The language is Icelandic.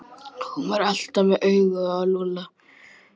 Hún var alltaf með augun á Lúlla.